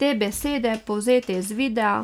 Te besede, povzete iz videa,